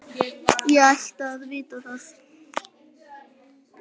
Ég ætti að vita það.